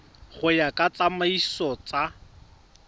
go ya ka ditsamaiso tsa